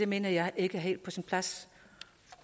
mener jeg ikke helt er på sin plads